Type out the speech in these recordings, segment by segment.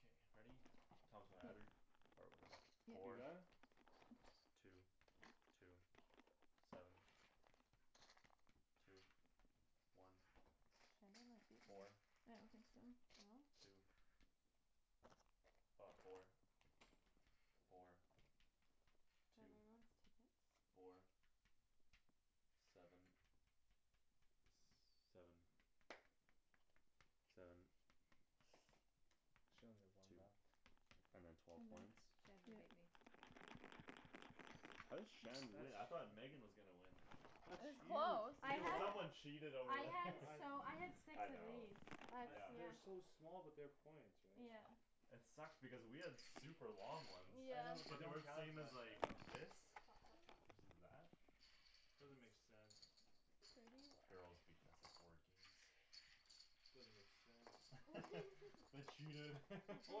K, ready? Thomas, wanna add her? Or whatever. Yeah. You Four got it? Two, two, seven, two, one, Shandy might beat me four, I don't think so. No? two Ah, four, four, Do I have two, everyone's tickets? four, seven, s- seven, seven She only have one Two left. And then twelve points Mhm. Shandon beat Yeah. me How did Shan That's win? I thought Megan was gonna win. It That's was huge. I close. You You know had what? someone cheated I over had here He- I so I had six I of know these. That's yeah I've they're yeah so small but they're points right? Yeah. It sucked because we had super long ones I know but they But Yeah. they don't were the count as same much, as I like know. this Stop, stop, stop. Versus that Doesn't make sense. Thirty one Girls beating us at board games. Doesn't make sense. They cheated. Oh,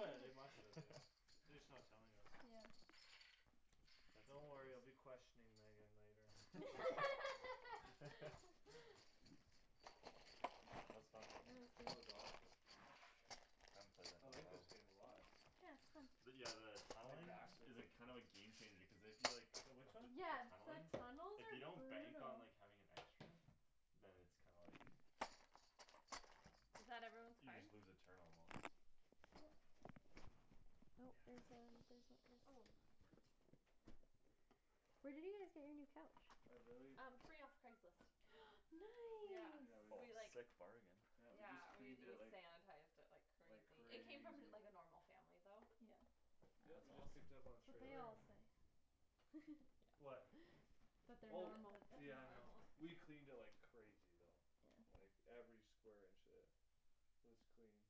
yeah, they must have, yeah. They just not telling us. Yeah. That's Don't worry I'll hilarious. be questioning Megan later. That was fun. That That was good. was awesome. I haven't played that I in a like this while. game a lot. Yeah, But it's fun. yeah the My Tunneling back's like is a kinda of a game changer cuz if you like The which one? T- Yeah, tunneling the tunnels If you are don't bank on brutal. like having an extra Then it's kinda like Is that everyone's You cards? just lose a turn almost Nope, there's a there's Yeah. a this Oh. Where did you guys get your new couch? I really Um, free off Craigslist. Yeah. Yeah, Nice. we c- Oh, We like sick bargain. Yeah, we just Yeah, we cleaned it we like sanitized it like Like crazy. It came crazy from like a normal family though. Yeah. Yeah, That's we just awesome. picked up on trailer. Yeah. What? That they're That Oh, that normal. that they're yeah, I know. normal. We cleaned it like crazy though. Like Yeah. Yeah. every square inch, uh Was cleaned.